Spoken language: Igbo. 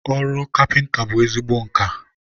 ọrụ kapịnta bụ ezigbo nka.